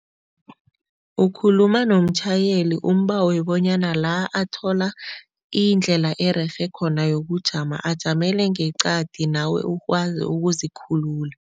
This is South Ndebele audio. Ukhuluma nomtjhayeli, umbawe bonyana la athola indlela ererhe khona yokujama ajamele ngeqadi nawe ukwazi ukuzikhulula.